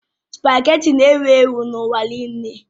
Spagéti na-ewu ewu n'ụwa nile